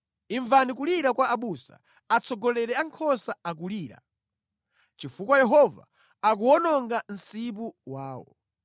Imvani kulira kwa abusa, atsogoleri a nkhosa akulira, chifukwa Yehova akuwononga msipu wawo.